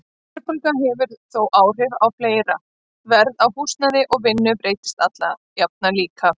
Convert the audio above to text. Verðbólga hefur þó áhrif á fleira, verð á húsnæði og vinnu breytist alla jafna líka.